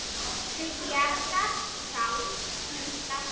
Til bjargar sál hins látna.